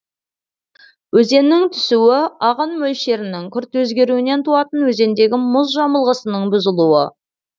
өзеннің түсуі ағын мөлшерінің күрт өзгеруінен туатын өзендегі мұз жамылғысының бұзылуы